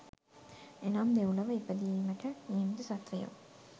එනම් දෙව්ලොව ඉපදීමට නියමිත සත්ත්වයෝ